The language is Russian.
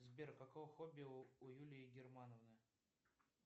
сбер какое хобби у юлии германовны